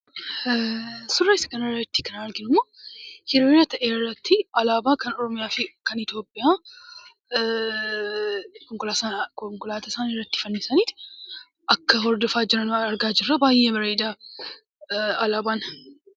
Suuraa asii kanarratti kan arginu, hiriira ta'e irratti alaabaa Oromiyaa fi kan Itoophiyaa konkolaataa isaaniirratti fannisaniitu akka wal hordofaa jiran argaa jira. baay'ee bareeda alaabaan.